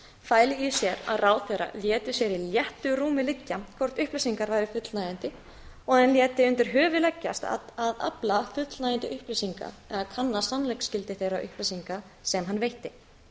fæli í sér að ráðherra léti sér í réttu rúmi liggja hvort upplýsingar hafi fullnægjandi og hann léti undir höfuð leggjast að afla fullnægjandi upplýsinga eða kanna sannleiksgildi þeirra upplýsinga sem hann veitti